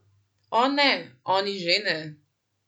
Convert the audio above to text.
O, ne, oni že ne.